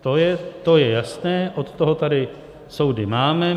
To je jasné, od toho tady soudy máme.